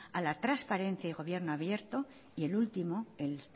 a la transparencia del gobierno abierto y el último el